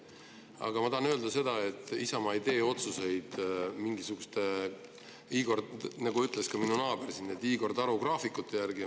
Aga ma tahan öelda, et Isamaa ei tee otsuseid, nagu ütles ka minu naaber, mingisuguste Igor Taro graafikute järgi.